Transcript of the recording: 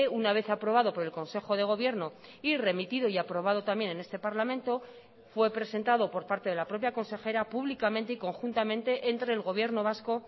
una vez aprobado por el consejo de gobierno y remitido y aprobado también en este parlamento fue presentado por parte de la propia consejera públicamente y conjuntamente entre el gobierno vasco